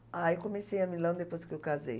Ah, eu conheci a Milão depois que eu casei.